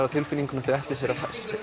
á tilfinningunni að þau ætli að